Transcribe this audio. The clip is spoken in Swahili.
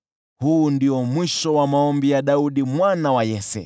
Huu ndio mwisho wa maombi ya Daudi mwana wa Yese.